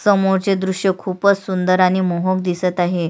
समोरचे दृश्य खुपच सुंदर आणि मोहक दिसत आहे.